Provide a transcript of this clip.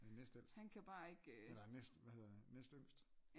han er næstældst eller hvad hedder det næst øh næstyngst